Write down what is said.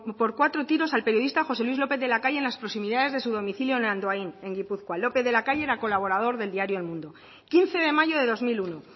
por cuatro tiros al periodista josé luis lópez de la calle en las proximidades de su domicilio en andoain en gipuzkoa lópez de la calle era colaborador del diario el mundo quince de mayo de dos mil uno